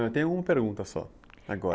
Eu tenho uma pergunta só, agora.